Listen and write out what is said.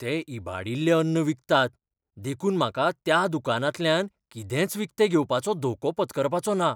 ते इबाडिल्लें अन्न विकतात देखून म्हाका त्या दुकानांतल्यान कितेंच विकतें घेवपाचो धोको पत्करपाचो ना.